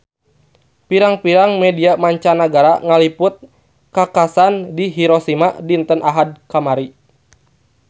Pirang-pirang media mancanagara ngaliput kakhasan di Hiroshima dinten Ahad kamari